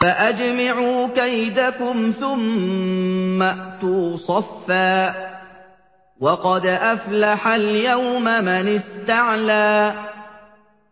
فَأَجْمِعُوا كَيْدَكُمْ ثُمَّ ائْتُوا صَفًّا ۚ وَقَدْ أَفْلَحَ الْيَوْمَ مَنِ اسْتَعْلَىٰ